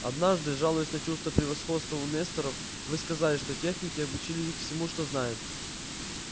однажды жалуясь на чувство превосходства у несторов вы сказали что техники обучили их всему что знают